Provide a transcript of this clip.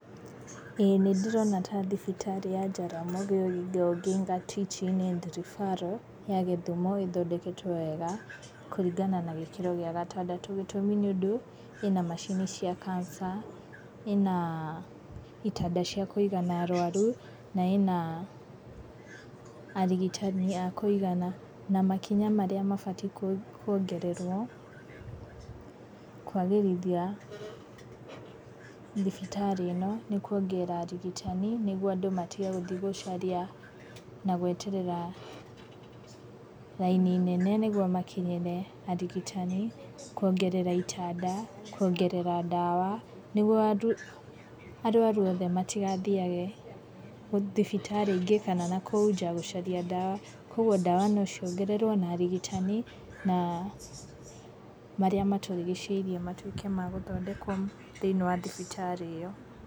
Ĩĩ nĩ ndĩrona ta thibitarĩ ya Jaramogi Oginga Odinga Teaching and Refferal, ya Gĩthumo ĩthondeketwo wega, kũringana na gĩkĩro gĩa gatandatũ. Gĩtũmi nĩ tondũ ĩna macini cia Cancer, ĩna itanda cia kũigana arũaru, na ĩna arigitani a kũigana. Na makinya marĩa mabatiĩ kwongererũo, kwagĩrithia thibitarĩ ĩno, nĩ kwongerera arigitani, nĩguo andũ matige gũthiĩ gũcaria na gweterera raini nene nĩguo makinyĩre arigitani, kwongerera itanda, kwongerera ndawa, nĩguo arũaru othe matigathiage thibitarĩ ingĩ, kana na kũu njaa gũcaria ndawa. Koguo ndawa no ciongererũo na arigitani, na ,marĩa matũrigicĩirie matuĩke magũthondekwo thĩiniĩ wa thibitarĩ ĩyo.